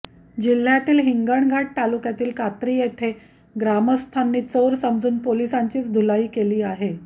जिल्ह्यातील हिंगणघाट तालुक्यातील कात्री येथे ग्रामस्थांनी चोर समजून पोलिसांचीच धुलाई केली आहे